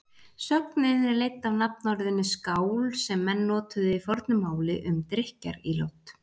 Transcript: Sögnin er leidd af nafnorðinu skál sem menn notuðu í fornu máli um drykkjarílát.